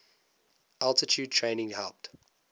altitude training helped